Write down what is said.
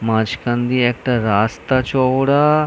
মাঝখান দিয়ে একটা রাস্তা চওড়া-আ।